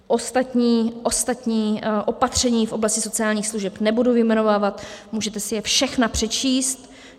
Ostatní opatření v oblasti sociálních služeb nebudu vyjmenovávat, můžete si je všechna přečíst.